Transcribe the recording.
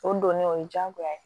O donnen o ye jagoya ye